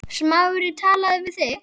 Smári talaði við þig?